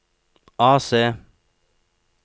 AC